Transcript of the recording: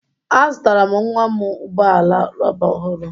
Azụtara m nwa m ụgbọ ala rọba ọhụrụ